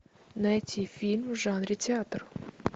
найти фильм в жанре театр